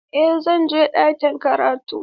Eh zan je ɗakin karatu.